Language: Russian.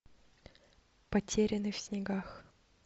потерянный в снегах